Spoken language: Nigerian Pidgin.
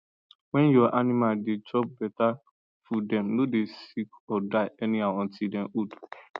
when your animal da chop better foodthem no go sick or die anyhow until them old